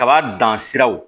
Kaba dan siraw